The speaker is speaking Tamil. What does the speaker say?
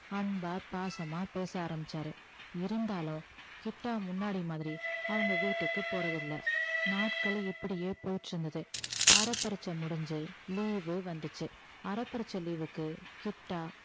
அன்பா பாசமா பேச ஆரம்பிச்சாரு இருந்தாலும் கிட்டா முன்னாடி மாதிரி அவங்க வீட்டுக்கு போறதில்ல நாட்கள் இப்படியே போயிட்டிருந்தது அரை பரீட்சை முடிஞ்சு leave வு வந்துச்சு அரை பரீட்சை leave க்கு கிட்டா